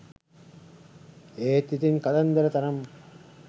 ඒත් ඉතින් කතන්දර තරම්